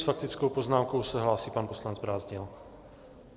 S faktickou poznámkou se hlásí pan poslanec Brázdil.